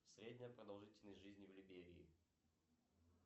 средняя продолжительность жизни в либерии